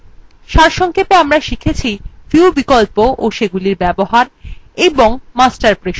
সারসংক্ষেপে আমরা শিখেছিview বিকল্প ও সেগুলির ব্যবহার এবং master পৃষ্ঠা